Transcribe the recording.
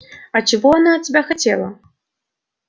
а чего она от тебя хотела